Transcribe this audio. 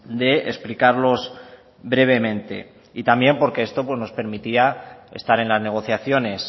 de explicarlos brevemente y también porque esto nos permitía estar en las negociaciones